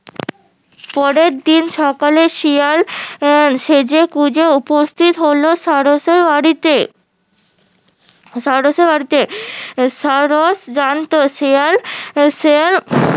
পরের দিন সকালে শিয়াল সেজেগুজে উপস্থিত হলো সারসের বাড়িতে সারসের বাড়িতে সারস জানতো শিয়াল শিয়াল